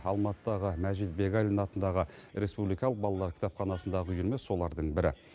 алматыдағы мәжит бегалин атындағы республикалық балалар кітапханасындағы үйірме солардың бірі